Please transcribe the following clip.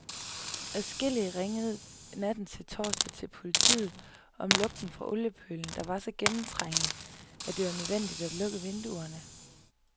Adskillige ringede natten til torsdag til politiet om lugten fra oliepølen, der var så gennemtrængende, at det var nødvendigt at lukke vinduerne.